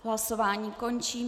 Hlasování končím.